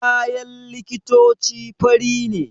Kayan likitoci fari ne